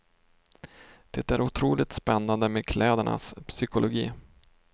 Det är otroligt spännande med klädernas psykologi.